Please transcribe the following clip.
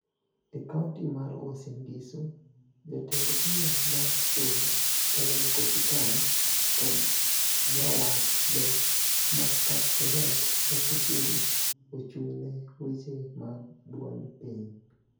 E kaonti mar Uasin Gisu, jatend bura mar Soy, Caleb Kositany kod jawachde ma Kapseret, Oscar Sudi, ochung' ne weche mag duond piny.